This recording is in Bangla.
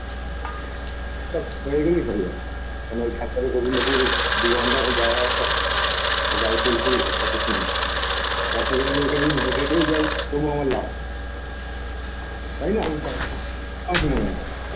ঠিক ঠাক হয়ে গেলেই হয়ে যাবে দু ঘন্টা মতো যাওয়া আসা আমার গাড়ির তেল ফুরিয়ে যায় তার চেয়ে বরঞ্চ এখানে যদি হেঁটে হেঁটেও যাই তবু আমার লাভ তাইনা তোমার কি মনে হয়